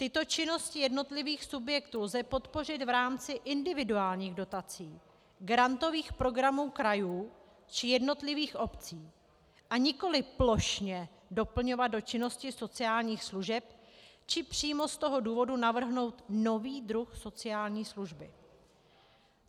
Tyto činnosti jednotlivých subjektů lze podpořit v rámci individuálních dotací, grantových programů krajů či jednotlivých obcí, a nikoli plošně doplňovat do činnosti sociálních služeb, či přímo z toho důvodu navrhnout nový druh sociální služby.